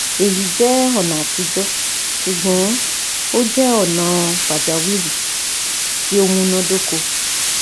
Eyi jẹ ọna atijọ, ṣugbọn o jẹ ọna pajawiri ti o munadoko